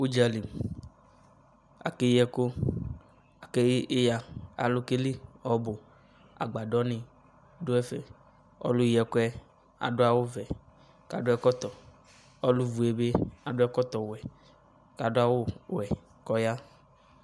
Udzali, ake yi ɛku Ake yi iya Alu ke li ɔbu Agbadɔ ne do ɛfɛ Ɔluyi ɛkuɛ ado awuvɛ kado ɛkltɔ , ɔlu vue be ado ɛlɔtɔwɛ kado awuwɛ kɔ ya